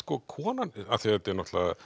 konan af því þetta er